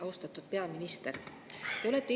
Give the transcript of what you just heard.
Austatud peaminister!